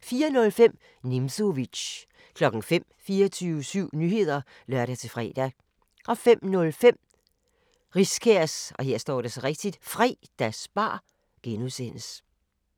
04:05: Nimzowitsch 05:00: 24syv Nyheder (lør-fre) 05:05: Riskærs Fredagsbar (G)